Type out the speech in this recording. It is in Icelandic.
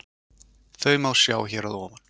Þau má sjá hér að ofan.